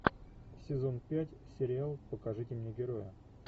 сезон пять сериал покажите мне героя